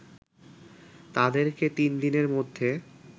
তাদেরকে তিন দিনের মধ্যে